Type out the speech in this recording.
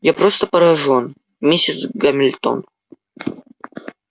я просто поражён миссис гамильтон